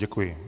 Děkuji.